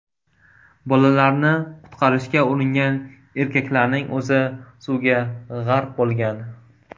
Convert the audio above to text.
Bolalarni qutqarishga uringan erkaklarning o‘zi suvga g‘arq bo‘lgan.